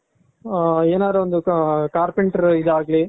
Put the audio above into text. ಏನಾದ್ರು ಒಂದು carpenter ಇದಾಗ್ಲಿ